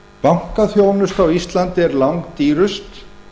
bankaþjónusta á íslandi er langdýrust